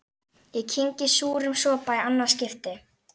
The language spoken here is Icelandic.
Ég kyngi súrum sopa í annað skipti.